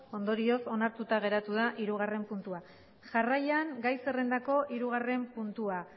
ondorioz onartuta geratu da hirugarren puntua jarraian gai zerrendako hirugarren puntua